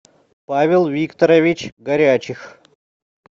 павел викторович горячих